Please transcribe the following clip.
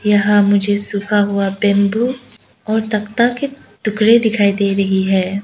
यहां मुझे सूखा हुआ बैंबू और तखता के टुकड़े दिखाई दे रही है।